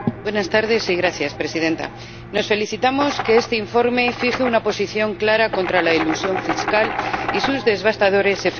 Señora Presidenta, nos felicitamos de que este informe fije una posición clara contra la elusión fiscal y sus devastadores efectos.